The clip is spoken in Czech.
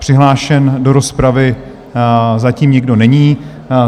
Přihlášen do rozpravy zatím nikdo není.